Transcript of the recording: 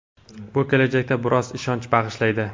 bu kelajakka biroz ishonch bag‘ishlaydi.